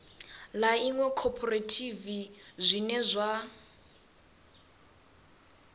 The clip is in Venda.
ḽa iṅwe khophorethivi zwine zwa